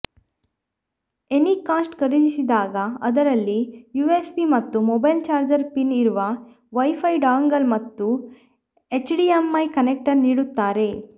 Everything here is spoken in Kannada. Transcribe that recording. ಎನಿಕಾಸ್ಟ್ ಖರೀದಿಸಿದಾಗ ಅದರಲ್ಲಿ ಯುಎಸ್ಬಿ ಮತ್ತು ಮೊಬೈಲ್ ಚಾರ್ಜರ್ ಪಿನ್ ಇರುವ ವೈಫೈ ಡಾಂಗಲ್ ಮತ್ತು ಎಚ್ಡಿಎಂಐ ಕನೆಕ್ಟರ್ ನೀಡಿರುತ್ತಾರೆ